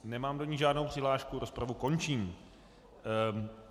Nemám do ní žádnou přihlášku, rozpravu končím.